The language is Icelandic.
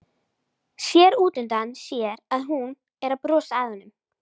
Sér útundan sér að hún er að brosa að honum.